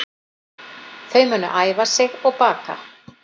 Þau munu æfa sig og baka